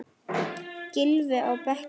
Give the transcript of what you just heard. Gylfi á bekkinn?